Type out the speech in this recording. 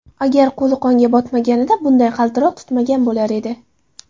Agar qo‘li qonga botmaganida bunday qaltiroq tutmagan bo‘lar edi.